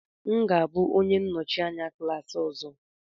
M ga-abụ onye nnọchi anya klas ọzọ.